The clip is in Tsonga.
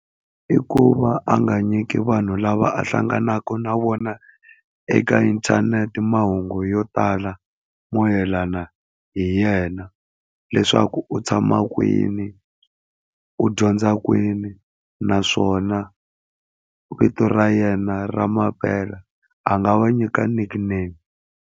I ku va a nga nyiki vanhu lava a hlanganaka na vona eka inthanete mahungu yo tala mo mayelana hi yena, leswaku u tshama kwini, u dyondza kwini, naswona vito ra yena ra mampela a nga va nyika nyiki nickname.